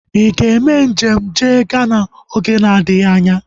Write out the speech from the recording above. Ị ga-eme njem jee Ghana oge adịghị anya?